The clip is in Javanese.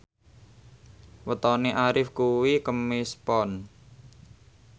wetone Arif kuwi Kemis Pon